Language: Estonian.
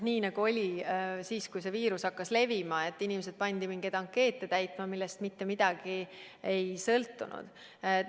Nii nagu oli siis, kui see viirus hakkas levima ja inimesed pandi piiril mingeid ankeete täitma, millest mitte midagi ei sõltunud.